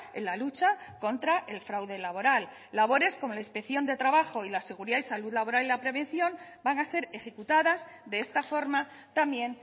en la lucha contra el fraude laboral labores como la inspección de trabajo y la seguridad y salud laboral y la prevención van a ser ejecutadas de esta forma también